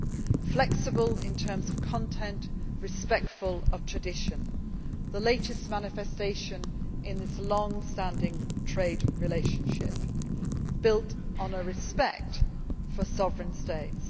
that are flexible in terms of content, respectful of tradition, and are the latest manifestation of this long standing trade relationship built on a respect for sovereign states.